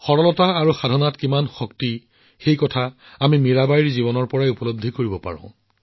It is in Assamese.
সৰলতাত কিমান শক্তি আছে আমি মীৰাবাইৰ জীৱনকালৰ পৰাই জানিব পাৰোঁ